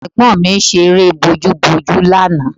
Ọmọ ẹ̀gbọ́n mi ṣe eré bojúbojú lánàá